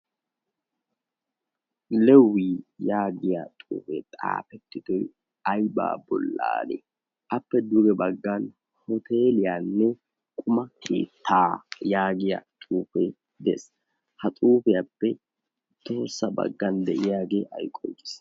lewii yaagiya xuufee xaafettitoi aibaa bollaanee appe dure baggan hoteliyaanne quma tiittaa yaagiya xuufee de'es. ha xuufiyaappe xoossa baggan de'iyaagee ay qonccii?